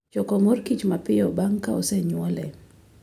Choko mor kich mapiyo bang' ka osenywole.